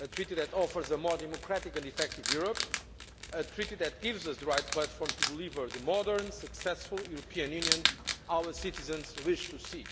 a Treaty that offers a more democratic and effective Europe, a Treaty that gives us the right platform to deliver the modern, successful European Union our citizens wish to see.